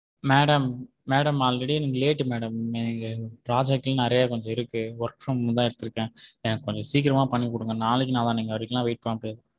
madam madam already எனக்கு late madam இங்க project லாம் நிறையா கொஞ்சம் இருக்கு work from தான் எடுத்துருக்கேன் எனக்கு கொஞ்சம் சீக்கிரம்மா பண்ணி குடுங்க நாளைக்கு நாளண்டைக்கு வரையலாம் wait பண்ண முடியாது.